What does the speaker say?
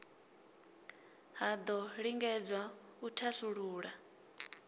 ha do lingedzwa u thasulula